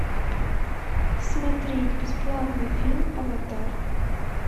смотреть бесплатно фильм аватар